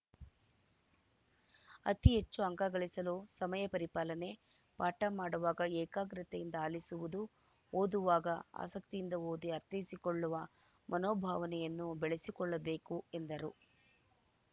ಅತಿಹೆಚ್ಚು ಅಂಕಗಳಿಸಲು ಸಮಯ ಪರಿಪಾಲನೆ ಪಾಠ ಮಾಡುವಾಗ ಏಕಾಗ್ರತೆಯಿಂದ ಆಲಿಸುವುದು ಓದುವಾಗ ಆಸಕ್ತಿಯಿಂದ ಓದಿ ಅರ್ಥೈಸಿಕೊಳ್ಳುವ ಮನೋಭಾವನೆಯನ್ನು ಬೆಳೆಸಿಕೊಳ್ಳಬೇಕು ಎಂದರು